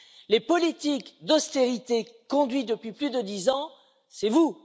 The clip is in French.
Les politiques d'austérité conduites depuis plus de dix ans, c'est vous.